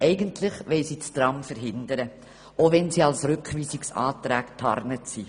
Eigentlich wollen sie das Tram verhindern, auch wenn sie als Rückweisungsanträge getarnt sind.